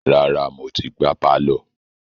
Rárá, mo ti gbá pálọ̀.